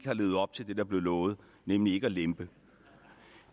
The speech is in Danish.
har levet op til det der blev lovet nemlig ikke at lempe